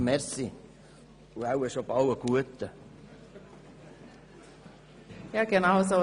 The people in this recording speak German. Danke und wahrscheinlich schon bald einen guten Appetit.